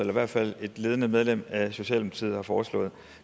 i hvert fald et ledende medlem af socialdemokratiet har foreslået